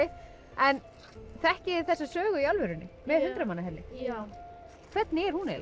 en þekkið þið þessa sögu í alvörunni með já hvernig er hún eiginlega